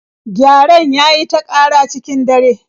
Gyaren ya yi ta ƙara cikin dare